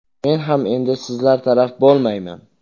Men ham endi sizlar taraf bo‘lmayman.